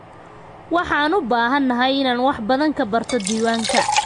Waxaan u baahanahay inaan wax badan ka barto diiwaanada.